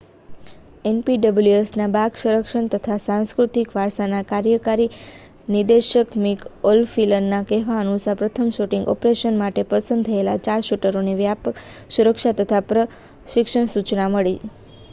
npwsના બાગ સંરક્ષણ તથા સાંસ્કૃતિક વારસાના કાર્યકારી નિદેશક મિક ઓ'ફ્લિનના કહેવા અનુસાર પ્રથમ શૂટિંગ ઑપરેશન માટે પસંદ થયેલા ચાર શૂટરોને વ્યાપક સુરક્ષા તથા પ્રશિક્ષણ સૂચના મળી